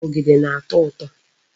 Ogede na-ato uto